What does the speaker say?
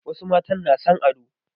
Wasu matan na son ado.